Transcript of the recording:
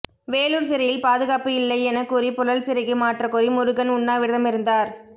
வேலூர் சிறையில் பாதுகாப்பு இல்லை என கூறி புழல் சிறைக்கு மாற்றக்கோரி முருகன் உண்ணாவிரதமிருந்தார்